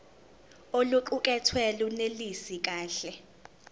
oluqukethwe lunelisi kahle